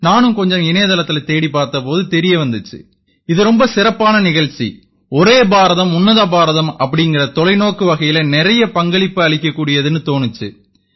நானும் கொஞ்சம் இணையதளத்தில தேடிப் பார்த்த போது தெரிய வந்திச்சு இது ரொம்ப சிறப்பான நிகழ்ச்சி ஒரே பாரதம் உன்னத பாரதம் அப்படீங்கற தொலைநோக்கு வகையில நிறைய பங்களிப்பு அளிக்கக் கூடியதுன்னு தோணிச்சு